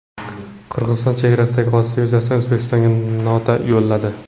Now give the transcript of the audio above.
Qirg‘iziston chegaradagi hodisa yuzasidan O‘zbekistonga nota yo‘lladi.